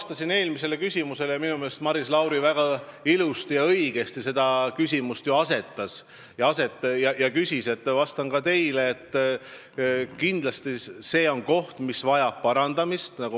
Nagu ma eelmisele küsimusele vastates ütlesin, minu meelest tõstatas Maris Lauri küsimuse väga õigesti, ja ma vastan ka teile, et kindlasti see on säte, mis vajab parandamist.